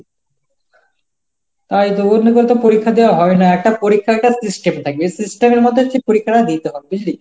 তাই তো অন্যকেও তো পরীক্ষা দেওয়া হবে না। একটা পরীক্ষার একটা system থাকে এই system এর মধ্যে হচ্ছে পরীক্ষাটা দিতে হয় বুঝলি?